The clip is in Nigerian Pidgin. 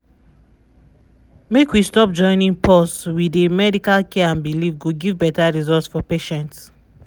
make we stop joinin’ pause wey dey medical care and belief go give beta result for patients.